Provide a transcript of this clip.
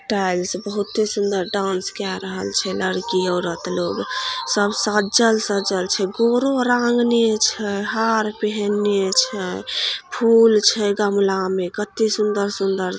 tiles बहुते सुंदर dance के रहले छै लड़की औरत लोग सब सज्जल सज्जल छै गोरो रांगने छै हार पेहनने छै फुल छै गमला में कते सुंदर-सुंदर--